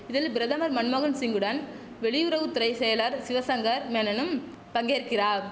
இதில் பிரதமர் மன்மோகன்சிங்குடன் வெளியுறவு துறை செயலர் சிவசங்கர் மேனனும் பங்கேற்கிறார்